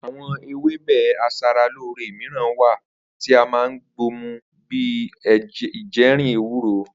Àwo̩n ewébè as̩alóore mìíràn wà tí a máa ń gbo mu bí i ejìrìn, ewúro